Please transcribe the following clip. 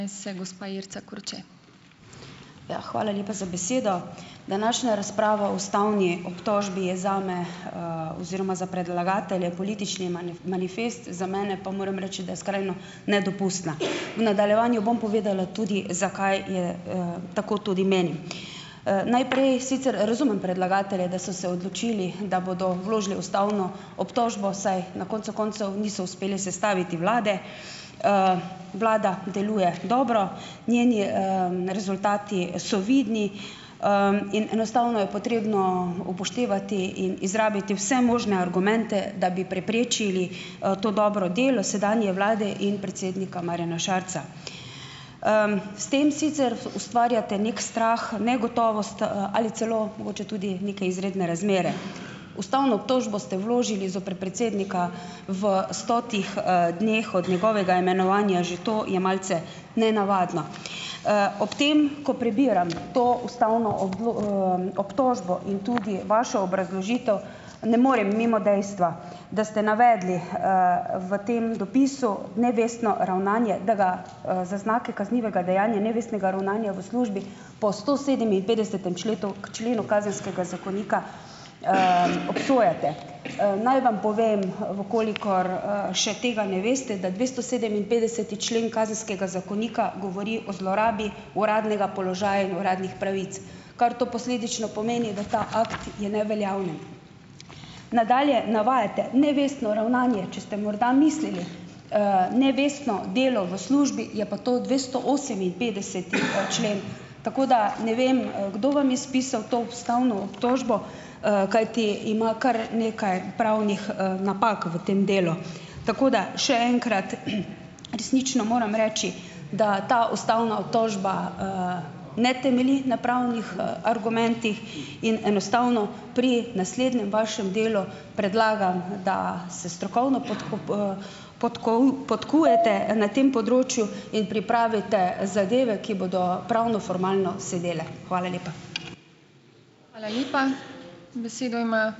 Ja, hvala lepa za besedo. Današnja razprava o ustavni obtožbi je zame, oziroma za predlagatelje politični manifest, za mene pa moram reči, da je skrajno nedopustna. V nadaljevanju bom povedala tudi, zakaj je, tako tudi menim. Najprej, sicer razumem predlagatelje, da so se odločili, da bodo vložili ustavno obtožbo saj na koncu koncev niso uspeli sestaviti vlade. Vlada deluje dobro, njeni, rezultati so vidni, in enostavno je potrebno upoštevati in izrabiti vse možne argumente, da bi preprečili, to dobro delo sedanje vlade in predsednika Marjana Šarca. S tem sicer ustvarjate neki strah, negotovost, ali celo mogoče tudi neke izredne razmere. Ustavno obtožbo ste vložili zoper predsednika v stotih, dneh od njegovega imenovanja, že to je malce nenavadno. Ob tem, ko prebiram to ustavno obtožbo in tudi vašo obrazložitev, ne morem mimo dejstva, da ste navedli, v tem dopisu nevestno ravnanje, da ga, z znaki kaznivega dejanja nevestnega ravnanja v službi po stosedeminpetdesetem členu Kazenskega zakonika, obsojate. Naj vam povem, v kolikor, še tega ne veste, da dvestosedeminpetdeseti člen Kazenskega zakonika govori o zlorabi uradnega položaja in uradnih pravic, kar to posledično pomeni, da ta akt je neveljaven. Nadalje navajate nevestno ravnanje, če ste morda mislili, nevestno delo v službi, je pa to dvestooseminpet deseti, člen, tako da ne vem, kdo vam je spisal to ustavno obtožbo, kajti ima kar nekaj pravnih, napak v tem delu. Tako da še enkrat resnično moram reči, da ta ustavna obtožba, ne temelji na pravnih, argumentih in enostavno pri naslednjem vašem delu predlagam, da se strokovno podkujete na tem področju in pripravite zadeve, ki bodo pravnoformalno sedele. Hvala lepa.